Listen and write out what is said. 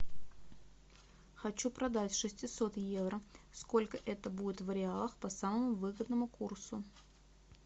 хочу продать шестьсот евро сколько это будет в реалах по самому выгодному курсу